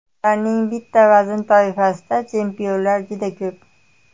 Ularning bitta vazn toifasida chempionlar juda ko‘p.